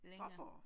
Fåborg?